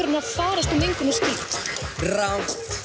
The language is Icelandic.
að farast úr mengun og skít rangt